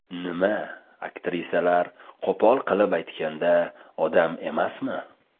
Nima, aktrisalar, qo‘pol qilib aytganda, odam emasmi?